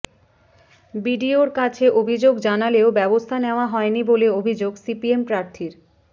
বিডিওর কাছে অভিযোগ জানালেও ব্যবস্থা নেওয়া হয়নি বলে অভিযোগ সিপিএম প্রার্থীর